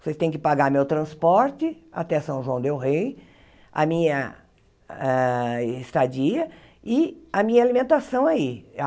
Vocês têm que pagar meu transporte até São João del Rey, a minha ah estadia e a minha alimentação aí.